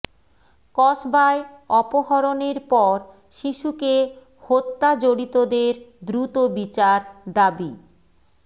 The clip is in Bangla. কসবায় অপহরণের পর শিশুকে হত্যা জড়িতদের দ্রুত বিচার দাবি